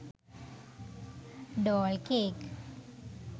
doll cake